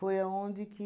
aonde que...